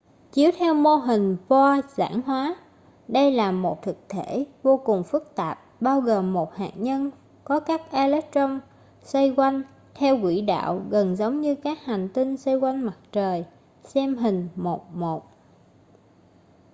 chiếu theo mô hình bohr giản hóa đây là một thực thể vô cùng phức tạp bao gồm một hạt nhân có các electron xoay quanh theo quỹ đạo gần giống như các hành tinh xoay quanh mặt trời xem hình 1.1